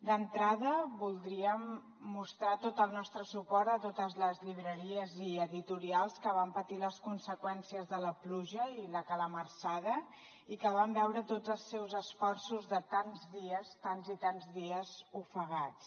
d’entrada voldríem mostrar tot el nostre suport a totes les llibreries i editorials que van patir les conseqüències de la pluja i la calamarsada i que van veure tots els seus esforços de tants dies tants i tants dies ofegats